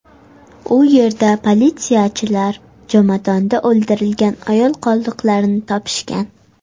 U yerda politsiyachilar jomadonda o‘ldirilgan ayol qoldiqlarini topishgan.